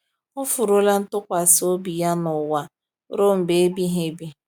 Ọ furuola ntụkwasị obi ya n’ụwa ruo mgbe ebighị ebi